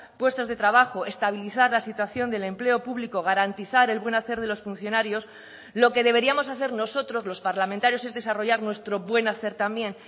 puestos de trabajo estabilizar la situación del empleo público garantizar el buen hacer de los funcionarios lo que deberíamos hacer nosotros los parlamentarios es desarrollar nuestro buen hacer también